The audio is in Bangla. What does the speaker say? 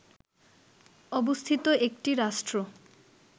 অবস্থিত একটি রাষ্ট্র